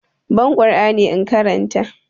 Ban ƙur'ani in karanta!